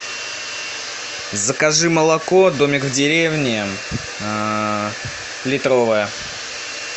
закажи молоко домик в деревне литровое